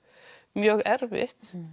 mjög erfitt